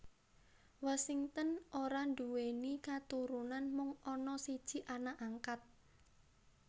Washington ora nduwèni katurunan mung ana siji anak angkat